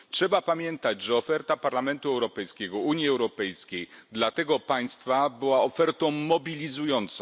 Trzeba pamiętać, że oferta Parlamentu Europejskiego, Unii Europejskiej dla tego państwa była ofertą mobilizującą.